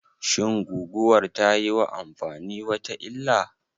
Shin guguwar tayiwa amfani wata illah?